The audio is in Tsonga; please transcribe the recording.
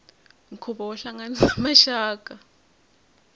nkhuvo wo hlanganisa maxaka